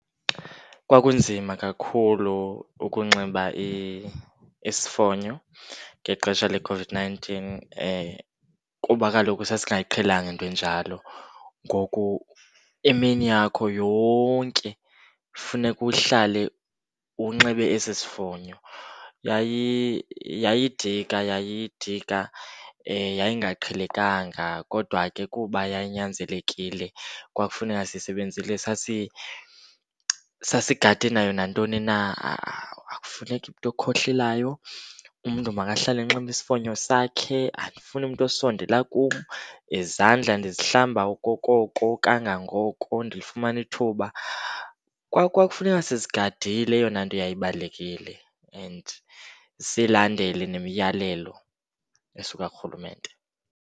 Kwakunzima kakhulu ukunxiba isifonyo ngexesha leCOVID-nineteen kuba kaloku sasingayiqhelanga into enjalo, ngoku imini yakho yonke funeka uhlale unxibe esi sifonyo. Yayidika yayidika yayingaqhelekanga kodwa ke kuba yayinyanzelekile kwakufuneka sisebenzile. Sasigade nayo nantoni na, ha-a. Akufuneki umntu okhohlelayo, umntu makahlale enxibe isifonyo sakhe. Andifuni umntu osondela kum nezandla ndizihlamba okokoko kangangoko ndifumana ithuba. Kwakufuneka sizigadile eyona nto yayibalulekile and silandele nemiyalelo esuka kurhulumente.